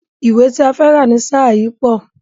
Ìwé ti a fẹ́ rà ni ṣáà yìí pọ̀.